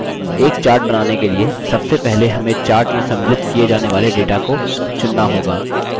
एक chart बनाने के लिए सबसे पहले हमें chart में सम्मिलित किये जाने वाले data को चुनना होगा